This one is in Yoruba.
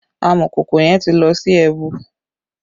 Amọ̀kòkò yẹn ti lọ sí ẹbu